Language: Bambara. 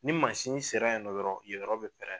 Ni mansin sera nɔ dɔrɔn yen yɔrɔ bɛ pɛrɛn.